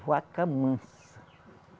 Vaca mansa